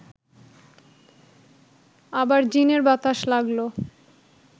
আবার জিনের বাতাস লাগল